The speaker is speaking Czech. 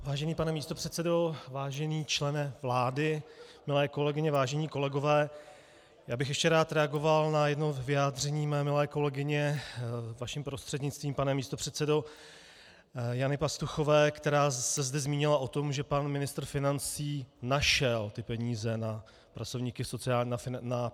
Vážený pane místopředsedo, vážený člene vlády, milé kolegyně, vážení kolegové, já bych ještě rád reagoval na jedno vyjádření mé milé kolegyně, vaším prostřednictvím, pane místopředsedo, Jany Pastuchové, která se zde zmínila o tom, že pan ministr financí našel ty peníze na platy pracovníků v sociálních službách.